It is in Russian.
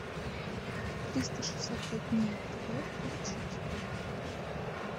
триста шестьдесят пять дней тв включить